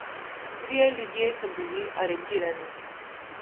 Trije ljudje so bili aretirani.